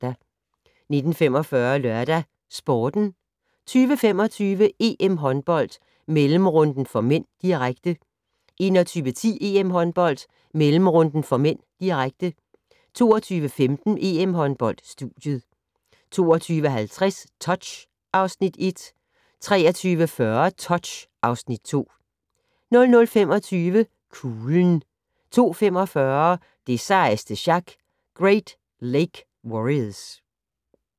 19:45: LørdagsSporten 20:25: EM-håndbold: Mellemrunden (m), direkte 21:10: EM-håndbold: Mellemrunden (m), direkte 22:15: EM-håndbold: Studiet 22:50: Touch (Afs. 1) 23:40: Touch (Afs. 2) 00:25: Kuglen 02:45: Det sejeste sjak - Great Lake Warriors